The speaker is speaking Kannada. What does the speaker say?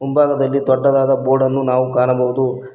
ಭಾಗದಲ್ಲಿ ದೊಡ್ಡದಾದ ಬೋರ್ಡ್ ಅನ್ನು ನಾವು ಕಾಣಬಹುದು.